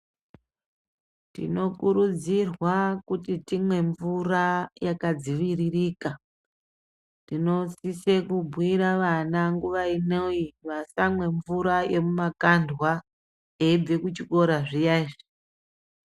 Tinokurudzirwa kuti timwe mvura yakadziviririka. Tinosise kubhuira vana nguva ino iyi vasamwe mvura yemumakandwa eibve kuchikora zviya izvi.